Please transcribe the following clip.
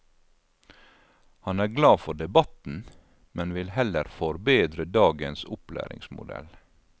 Han er glad for debatten, men vil heller forbedre dagens opplæringsmodell.